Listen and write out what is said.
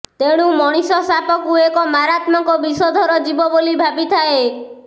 ତେଣୁ ମଣିଷ ସାପକୁ ଏକ ମାରାତ୍ମକ ବିଷଧର ଜୀବ ବୋଲି ଭାବିଥାଏ